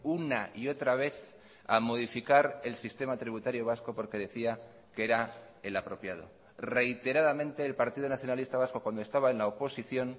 una y otra vez a modificar el sistema tributario vasco porque decía que era el apropiado reiteradamente el partido nacionalista vasco cuando estaba en la oposición